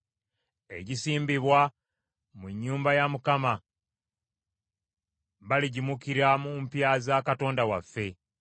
Egisimbibwa mu nnyumba ya Mukama . Baligimukira mu mpya za Katonda waffe.